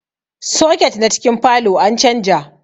Soket na cikin falow an canja